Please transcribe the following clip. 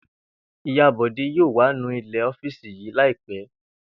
Ìyá Bò̩dé yóò wá nu ilè̩ ó̩fíìsì yìí láì pé̩